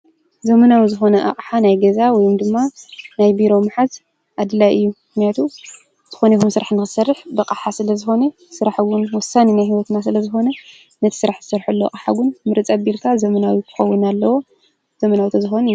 ዘመናዊ ዝኮነ ኣቅሓ ናይ ገዛ ወይ ድማ ናይ ቢሮ ምሓዝ ኣድላይ እዩ። ምክንያቱ ዝኮነ ይኩን ስራሕ ክትሰርሕ ብኣቅሓ ስለ ዝኮነ ስራሕ እውን ወሳኒ ናይ ሂወትና ስለ ዝኮነ ነቲ ስራሕ እትሰርሐሉ ኣቅሓ እውን ምርፅ ኣብልካ ዘመናዊ ክከውን ኣለዎ ዘመናዊ ተዝኮን ይምረፅ።